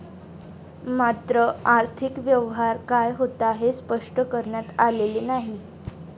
मात्र, आर्थिक व्यवहार काय होता, हे स्पष्ट करण्यात आलेले नाही.